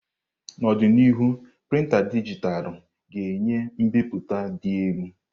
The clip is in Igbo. N'ọdịnihu, printá dijitalụ ga-enye mbipụta dị elu.